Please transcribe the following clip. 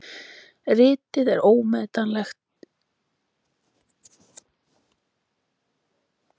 Ritið er ómetanleg heimild um mælskulist og kennsluhætti mælskulistar í Rómaborg.